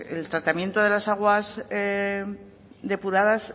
el tratamiento de las aguas depuradas